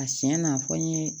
A siɲɛ na a fɔ n ye